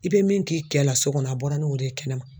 I bɛ min k'i kɛ la so kɔnɔ a bɔra n'o de ye kɛnɛma